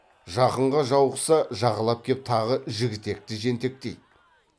жақынға жауықса жағалап кеп тағы жігітекті жентектейді